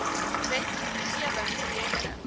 wet gewing projekte